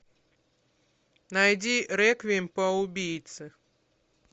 найди реквием по убийце